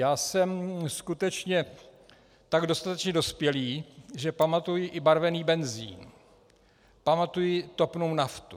Já jsem skutečně tak dostatečně dospělý, že pamatuji i barvený benzin, pamatuji topnou naftu.